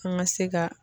An ka se ka